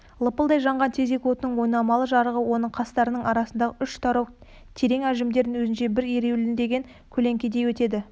лапылдай жанған тезек отының ойнамалы жарығы оның қастарының арасындағы үш тарау терең әжімдерін өзінше бір ереуілдеген көлеңкедей етеді